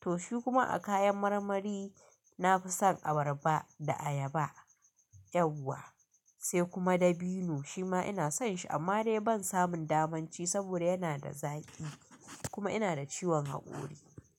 To shi kuma a kayan marmari nafi son abarba da ayaba, ƴawa sai kuma dabino shima ina son shi amma dai ban samun damanci saboda yana da zaƙi kuma ina da ciwon haƙori.